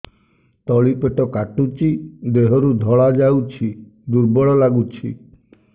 ତଳି ପେଟ କାଟୁଚି ଦେହରୁ ଧଳା ଯାଉଛି ଦୁର୍ବଳ ଲାଗୁଛି